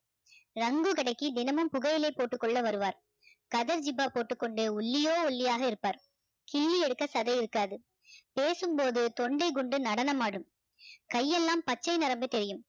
ரங்கு கடைக்கு தினமும் புகையிலை போட்டுக்கொள்ள வருவார் கதர் ஜிப்பா போட்டுக்கொண்டு ஒல்லியோ ஒல்லியாக இருப்பார் கிள்ளி எடுக்க சதை இருக்காது பேசும் போது தொண்டைக்குண்டு நடனமாடும் கையெல்லாம் பச்சை நரம்பு தெரியும்